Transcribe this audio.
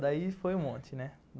Daí foi um monte, né?